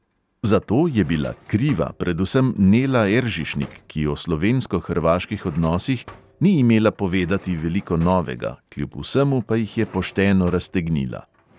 Za to je bila "kriva" predvsem nela eržišnik, ki o slovensko-hrvaških odnosih ni imela povedati veliko novega, kljub vsemu pa jih je pošteno raztegnila.